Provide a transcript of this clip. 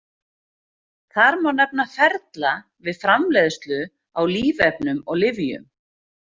Þar má nefna ferla við framleiðslu á lífefnum og lyfjum.